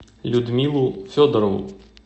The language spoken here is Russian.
людмилу федорову